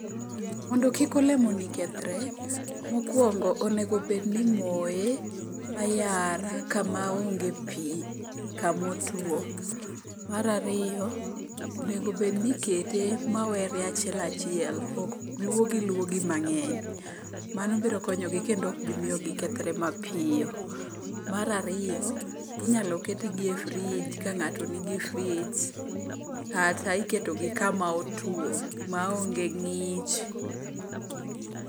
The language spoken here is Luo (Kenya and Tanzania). Mondo kik olemoni kethre, mokwongo onego bedni imoye ayara kama onge pi kamotwo. Mar ariyo onegobedni ikete mawere achiel achiel ok lwogilwogi mang'eny, mano biro konyogi kendo okbimiyo gikethre mapiyo. Mar ariyo inyalo ketgi e frij ka ng'ato nigi frij kata iketogi kama otwo maonge ng'ich